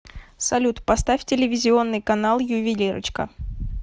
салют поставь телевизионный канал ювелирочка